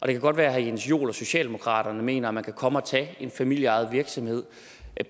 det kan godt være at herre jens joel og socialdemokraterne mener at man kan komme og tage en familieejet virksomhed